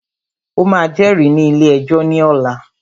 O máà jẹ́rìí ní ilé ẹjọ́ ní ọ̀la!